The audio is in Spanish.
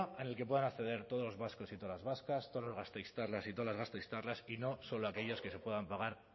en el que puedan acceder todos los vascos y todas las vascas todos los gasteiztarras y todas las gasteiztarras y no solo aquellos que se puedan pagar